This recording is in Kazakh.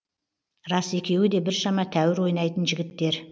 рас екеуі де біршама тәуір ойнайтын жігіттер